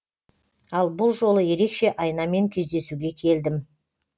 ал бұл жолы ерекше айнамен кездесуге келдім